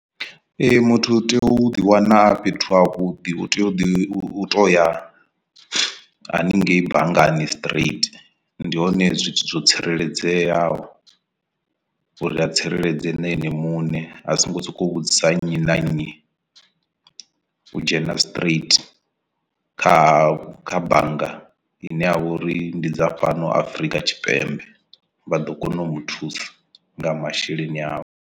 Ee muthu u tea u ḓiwana a fhethu havhuḓi u tea u ḓi u toya haningei banngani straight ndi hone zwithu zwo tsireledzeaho uri a tsireledze na ene muṋe a songo sokou vhudzisa nnyi na nnyi u dzhena straight kha kha bannga ine ya vha uri ndi dza fhano Afrika Tshipembe vha ḓo kona u muthusa nga masheleni avho.